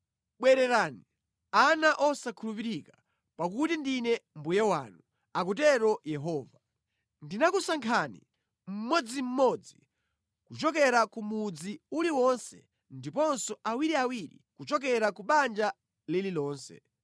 “Bwererani, ana osakhulupirika, pakuti ndine mbuye wanu,” akutero Yehova. “Ndinakusankhani, mmodzimmodzi kuchokera ku mudzi uliwonse ndiponso awiriawiri kuchokera ku banja lililonse.